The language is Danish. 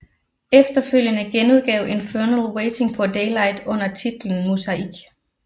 Efterfølgende genudgav Infernal Waiting for Daylight under titlen Muzaik